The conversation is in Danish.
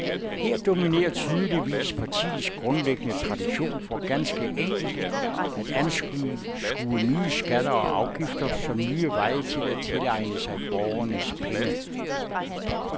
Her dominerer tydeligvis partiets grundlæggende tradition for ganske enkelt at anskue nye skatter og afgifter som nye veje til at tilegne sig borgernes penge.